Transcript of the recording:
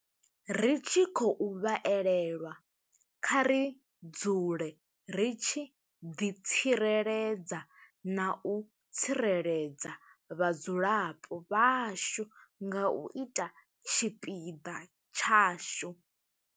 Ri tshi khou vha elelwa, kha ri dzule ri tshi ḓitsireledza na u tsireledza vhadzulapo vhashu nga u ita tshipiḓa tshashu.